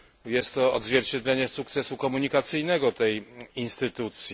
Jest to odzwierciedlenie sukcesu komunikacyjnego tej instytucji.